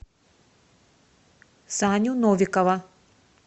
саню новикова